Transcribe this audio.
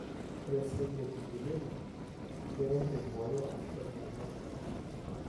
Ore iceelli leepithelial keret aibooyo ashu aikenoo irubat.